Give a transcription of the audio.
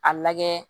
A lajɛ